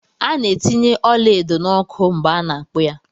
A ná etinye ọla edo na ọkụ mgbe ana akpu ya.